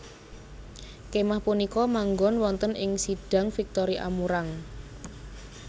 Kémah punika manggon wonten ing Sidang Victory Amurang